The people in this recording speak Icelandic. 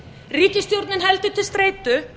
ríkisstjórnin heldur til streitu